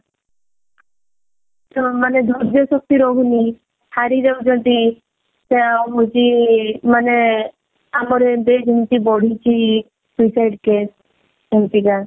ସେ ମାନେ ଧର୍ଯ୍ୟ ଶକ୍ତି ରହୁନି ହାରି ଯାଉଛନ୍ତି ଆଉ ହଉଛି ମାନେ ଆମର ଏବେ ଯେମିତି ବଢିଛି suicide case ସେମତିକା